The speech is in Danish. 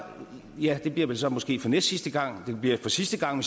ja det bliver vel så måske for næstsidste gang det bliver for sidste gang